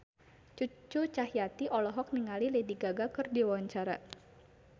Cucu Cahyati olohok ningali Lady Gaga keur diwawancara